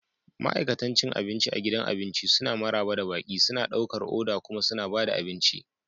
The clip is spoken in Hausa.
Ma'aikatan cin abinci a gidan abinci suna maraba da baƙi, suna ɗaukar oda kuma suna ba da abinci.